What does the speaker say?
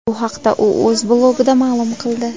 Bu haqda u o‘z blogida ma’lum qildi .